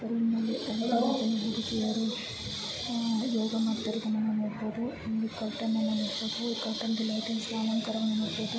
ಈ ರೂಮ್ನಲ್ಲಿ ಅನೇಕ ಹುಡುಗಿಯರು ಆಹ್ ಯೋಗ ಮಾಡುತ್ತಿರೋದನ್ನ ನಾವು ನೋಡಬಹುದು ಇಲ್ಲಿ ಕರ್ಟನ್ ಅನ್ನ ನೋಡಬಹುದು ಈ ಕರ್ಟನ್ ಗೆ ಲೈಟಿಂಗ್ಸ್ ನ ಅಲಂಕಾರವನ್ನು ನೋಡಬಹುದು.